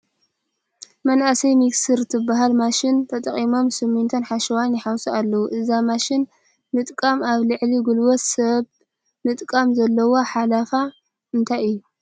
መናእሰይ ሚክሰር ትበሃል ማሽን ተጠቒሞም ስሚንቶን ሓሸዋን ይሓውሱ ኣለዉ፡፡ እዛ መሽን ምጥቃም ኣብ ልዕሊ ጉልበት ሰብ ምጥቃም ዘለዎ ሓለፋ እንታይ እዩ?